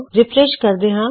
refresh ਕਰਦੇ ਹਾਂ